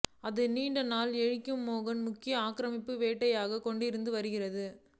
அது நீண்ட எஸ்கிமோக்கள் முக்கிய ஆக்கிரமிப்பு வேட்டையாடிக் கொண்டிருந்த வருகிறது